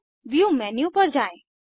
अब view menu पर जाएँ